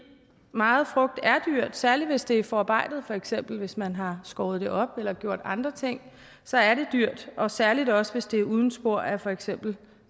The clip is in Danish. meget frugt er dyrt særlig hvis det er forarbejdet for eksempel hvis man har skåret det op eller gjort andre ting så er det dyrt og særlig også hvis det er uden spor af for eksempel